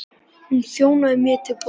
Hún þjónaði mér til borðs.